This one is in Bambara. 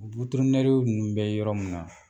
nunnu bɛ yɔrɔ min na